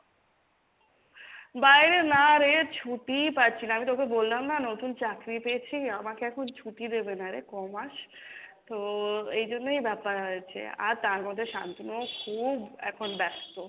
বাইরে না রে ছুটিই পাচ্ছি না, আমি তোকে বললাম না নতুন চাকরি পেয়েছি আমাকে এখন ছুটি দেবে না রে ক মাস, তো এই জন্যই ব্যাপার হয়েছে আর তার মধ্যে সান্তুনুও খুব এখন ব্যাস্ত,